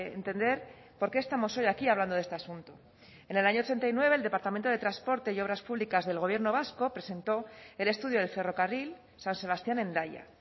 entender por qué estamos hoy aquí hablando de este asunto en el año ochenta y nueve el departamento de transportes y obras públicas del gobierno vasco presentó el estudio del ferrocarril san sebastián hendaya